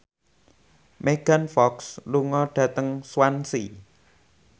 Megan Fox lunga dhateng Swansea